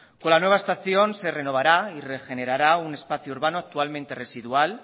con la nueva estación se renovará y regenerará un espacio urbano actualmente residual